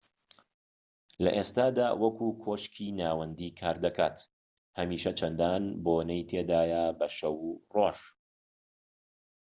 لە ئێستادا وەکو کۆشکی ناوەندی کار دەکات و هەمیشە چەندان بۆنەی تێدایە بە شەو و ڕۆژ